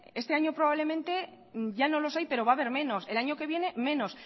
este año probablemente ya no los hay pero va a haber menos el año que viene menos